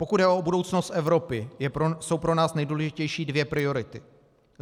Pokud jde o budoucnost Evropy, jsou pro nás nejdůležitější dvě priority.